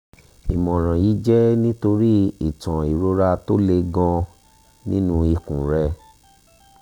ìmọ̀ràn yìí jẹ́ nítorí ìtàn ìrora tó le gan-an nínú ikùn rẹ̀